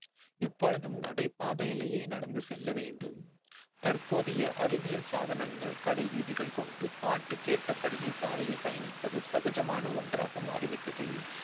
எப்பொழுதும் நடைபாதையிலேயே நடந்து செல்ல வேண்டும் தற்போதைய அறிவியல் சாதனங்கள் கடைவீதிகள் கொண்டு பாட்டு கேட்டபடியே சாலையில் பயணிப்பது சகஜமான ஒன்றாக மாறிவிட்டது